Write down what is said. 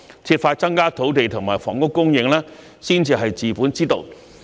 設法增加土地及房屋供應才是治本之道。